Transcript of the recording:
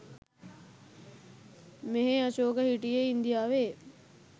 මෙහේ අශෝක හිටියේ ඉන්දියාවේ.